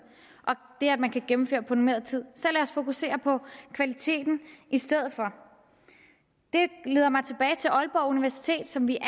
og det at man kan gennemføre på normeret tid så lad os fokusere på kvaliteten i stedet for det leder mig tilbage til aalborg universitet som vi